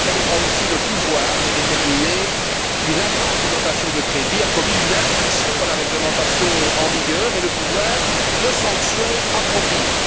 Elle aura aussi le pouvoir de déterminer qu'une agence de notation de crédit a commis une infraction à la réglementation en vigueur et le pouvoir d'adopter des sanctions appropriées.